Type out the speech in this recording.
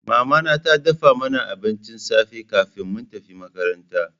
Mama tana dafa mana abincin safe kafin mu tafi makaranta.